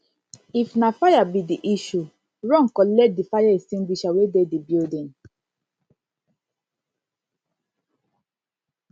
if na fire be di issue run collect di fire extingusher wey dey di building